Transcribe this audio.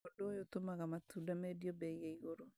Ũndũ ũyũ ũtũmaga matunda mendio mbei ya iguru